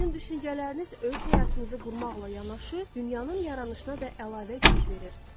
Sizin düşüncələriniz öz həyatınızı qurmaqla yanaşı, dünyanın yaranışına da əlavə güc verir.